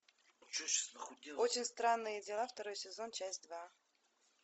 очень странные дела второй сезон часть два